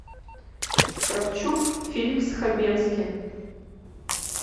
кравчук фильм с хабенским